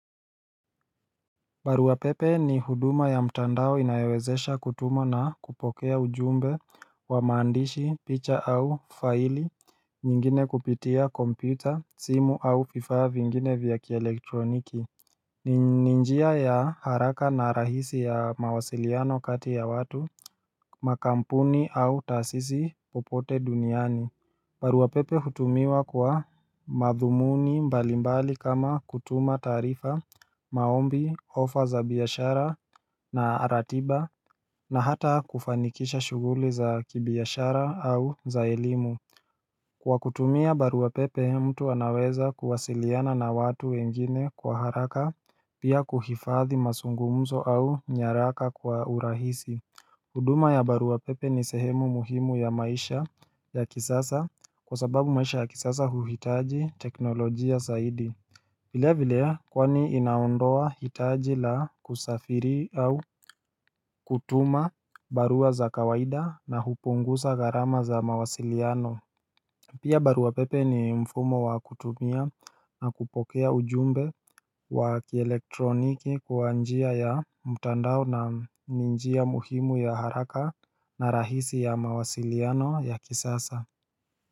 Barua pepe ni huduma ya mtandao inayowezesha kutuma na kupokea ujumbe wa maandishi, picha au faili, nyingine kupitia kompyuta, simu au vifaa vingine vya kielektroniki ni ni njia ya haraka na rahisi ya mawasiliano kati ya watu, makampuni au taasisi popote duniani barua pepe hutumiwa kwa madhumuni mbalimbali kama kutuma taarifa, maombi, ofa za biashara na ratiba na hata kufanikisha shughuli za kibiashara au za elimu Kwa kutumia barua pepe mtu anaweza kuwasiliana na watu wengine kwa haraka pia kuhifadhi mazungumzo au nyaraka kwa urahisi huduma ya barua pepe ni sehemu muhimu ya maisha ya kisasa kwa sababu maisha ya kisasa huhitaji teknolojia zaidi vile vile kwani inaondoa hitaji la kusafiri au kutuma barua za kawaida na hupunguza gharama za mawasiliano Pia barua pepe ni mfumo wa kutumia na kupokea ujumbe wa kielektroniki kwa njia ya mtandao na ni njia muhimu ya haraka na rahisi ya mawasiliano ya kisasa.